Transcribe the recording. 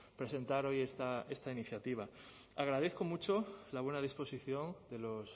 presentar hoy esta iniciativa agradezco mucho la buena disposición de los